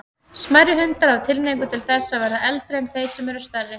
Smærri hundar hafa tilhneigingu til þess að verða eldri en þeir sem eru stærri.